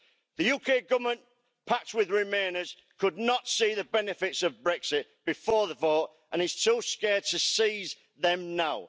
The UK Government, packed with remainers, could not see the benefits of Brexit before the vote and is too scared to seize them now.